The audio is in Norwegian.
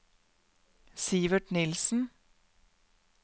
Sivert Nielsen